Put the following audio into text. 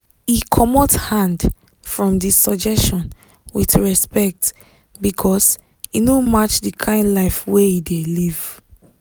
e comot hand from d suggestion with respect because e no match d kind life wey e dey live